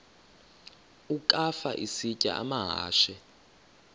ukafa isitya amahashe